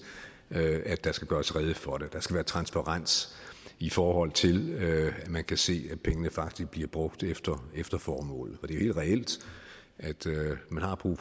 at der skal gøres rede for det der skal være transparens i forhold til at man kan se at pengene faktisk bliver brugt efter efter formålet det er jo helt reelt at man har brug